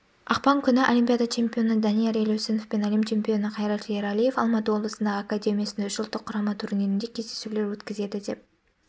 ақпан күні олимпиада чемпионы данияр елеусінов пен әлем чемпионы қайрат ералиев алматы облысындағы академиясында үш ұлттық құрама турнирінде кездесулер өткізеді деп